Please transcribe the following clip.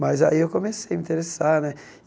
Mas aí eu comecei a me interessar né.